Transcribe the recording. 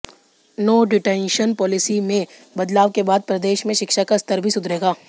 no detention policy में बदलाव के बाद प्रदेश में शिक्षा का स्तर भी सुधरेगा